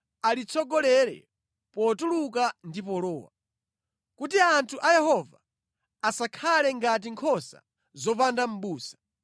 alitsogolere potuluka ndi polowa, kuti anthu a Yehova asakhale ngati nkhosa zopanda mʼbusa.”